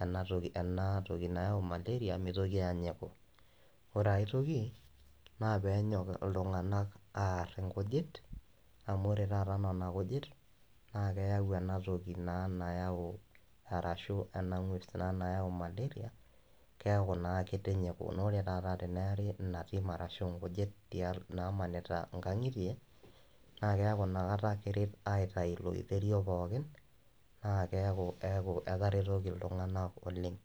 ena toki nayau malaria mitoki aanyiku. Ore ae toki naa pee enyok iltung`anak aar nkujit, amu ore taata nena kujit naa keyau naa ena toki naa nayau arashu ena ng`ues nayau naa malaria kiaku naa kitinyiku. Naa ore taata pee eeri ina tim arashu nkujit namanita nkang`itie naa keeku ina kata keret aitayu ilo oiterio pookin, naa keeku etaretoki iltung`anak oleng.